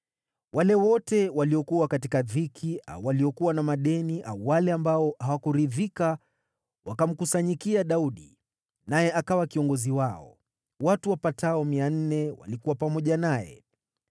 Wale wote waliokuwa katika dhiki au waliokuwa na madeni au wale ambao hawakuridhika wakamkusanyikia Daudi, naye akawa kiongozi wao. Watu wapatao 400 walikuwa pamoja naye.